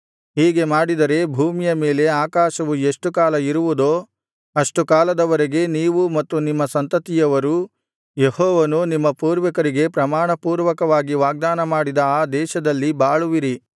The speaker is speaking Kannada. ಹೀಗೆ ಮಾಡಿದರೆ ಭೂಮಿಯ ಮೇಲೆ ಆಕಾಶವು ಎಷ್ಟು ಕಾಲ ಇರುವುದೋ ಅಷ್ಟು ಕಾಲದ ವರೆಗೆ ನೀವೂ ಮತ್ತು ನಿಮ್ಮ ಸಂತತಿಯವರೂ ಯೆಹೋವನು ನಿಮ್ಮ ಪೂರ್ವಿಕರಿಗೆ ಪ್ರಮಾಣಪೂರ್ವಕವಾಗಿ ವಾಗ್ದಾನಮಾಡಿದ ಆ ದೇಶದಲ್ಲಿ ಬಾಳುವಿರಿ